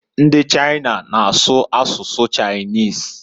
Ndi China na-asu asụsụ Chinese.